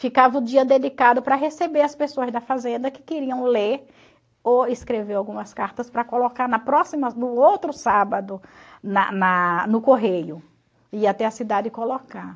Ficava o dia dedicado para receber as pessoas da fazenda que queriam ler ou escrever algumas cartas para colocar na próxima no outro sábado na na no correio e ir até a cidade colocar.